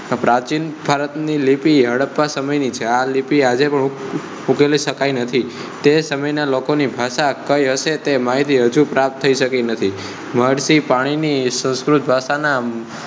પ્રાચીન ભારત ની લિપિ હડપ્પા સમય ની છે. આ લિપિ આજે પણ ઉકેલી શકાય નથી. તે સમય ના લોકો ની ભાષા કઈ હશે? તે માહિતી હજુ પ્રાપ્ત શકી થઈ નથી. મળતી પાણી ની સંસ્કૃત ભાષા ના